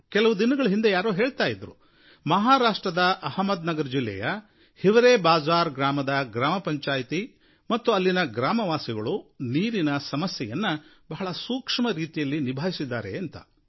ಕೆಲವು ದಿನಗಳ ಹಿಂದೆ ನನಗೆ ಯಾರೋ ಹೇಳ್ತಾ ಇದ್ದರು ಮಹಾರಾಷ್ಟ್ರದ ಅಹ್ಮದ್ ನಗರ ಜಿಲ್ಲೆಯ ಹಿವರೇ ಬಾಜ಼ಾರ್ ಗ್ರಾಮದ ಗ್ರಾಮಪಂಚಾಯಿತಿ ಮತ್ತು ಅಲ್ಲಿನ ಗ್ರಾಮವಾಸಿಗಳು ನೀರಿನ ಸಮಸ್ಯೆಯನ್ನು ಬಹಳ ಸೂಕ್ಷ್ಮರೀತಿಯಲ್ಲಿ ನಿಭಾಯಿಸಿದ್ದಾರೆ ಅಂತ